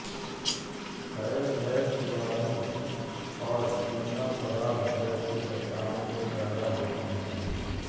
शैल gas बालू एवं चूना पत्थर जैसी चट्टानों से पैदा होती है